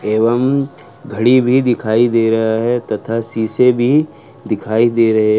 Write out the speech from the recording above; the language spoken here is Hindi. एवं घड़ी भी दिखाई दे रहा है तथा शीशे भी दिखाई दे रहे हैं।